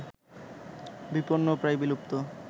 বিপণ্ন ও প্রায় বিলুপ্ত